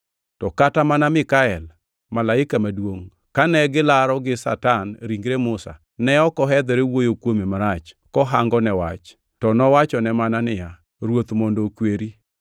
To kata mana Mikael malaika maduongʼ kane gilaro gi Satan ringre Musa, ne ok ohedhore wuoyo kuome marach kohangone wach, to nowachone mana niya, “Ruoth mondo okweri!”